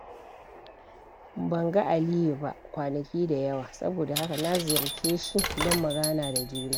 Ban ga Aliyu ba kwanaki da yawa, saboda haka na ziyarce shi don mu gana da juna.